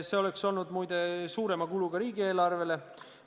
See oleks olnud, muide, suurema kuluga riigieelarvele.